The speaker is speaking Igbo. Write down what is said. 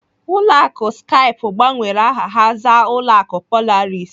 Ụlọ akụ Skype gbanwere aha ha zaa ụlọ akụ Polaris.